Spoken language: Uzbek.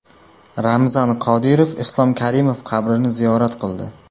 Ramzan Qodirov Islom Karimov qabrini ziyorat qildi .